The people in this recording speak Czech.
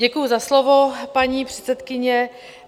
Děkuji za slovo, paní předsedkyně.